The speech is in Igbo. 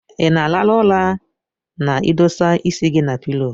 Inaa alarụ ụra na idosaa isi gi na pilo?